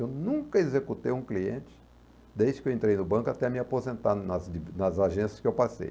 Eu nunca executei um cliente desde que eu entrei no banco até me aposentar nas de nas agências que eu passei.